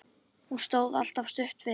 Hún stóð alltaf stutt við.